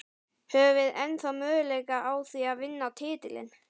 Höfum við ennþá möguleika á því að vinna titilinn?